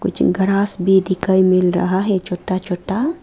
कुछ ग्रास भी दिखाई मिल रहा है छोटा छोटा।